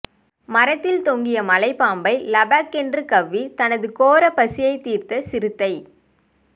மரத்தில் தொங்கிய மலைப்பாம்பை லபக்கென்று கவ்வி தனது கோர பசியை தீர்த்த சிறுத்தை